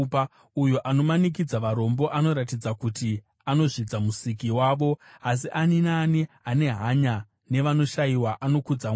Uyo anomanikidza varombo anoratidza kuti anozvidza Musiki wavo, asi ani naani ane hanya nevanoshayiwa anokudza Mwari.